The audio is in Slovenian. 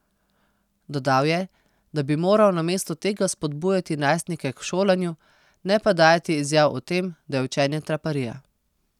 Dodal je, da bi moral namesto tega spodbujati najstnike k šolanju, ne pa dajati izjav o tem, da je učenje traparija.